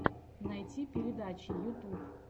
найти передачи ютуб